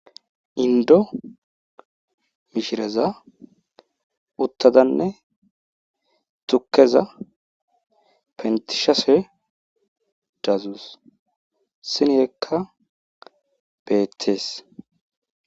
Inddo mishereza uttadanne tukkeza pentisashe dadus. Sinekka beetees.